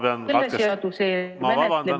Halloo!